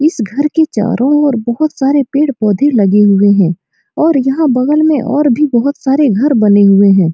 इस घर के चारों ओर बहुत सारे पेड़-पौधे लगे हुए हैं और यहाँ बगल में और भी बहुत सारे घर बने हुए हैं।